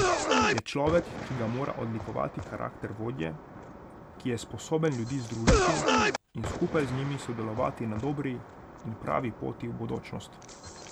Je človek, ki ga mora odlikovati karakter vodje, ki je sposoben ljudi združiti in skupaj z njimi sodelovati na dobri in pravi poti v bodočnost.